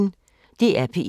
DR P1